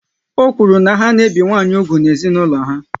Ọ kwuru na ha na-ebi nwanyị úgwù n'ezinaulo ha